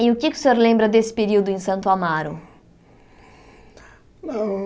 E o que o senhor lembra desse período em Santo Amaro?